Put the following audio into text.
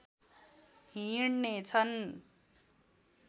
हिँडने छन्